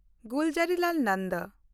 Gulzarilal Nanda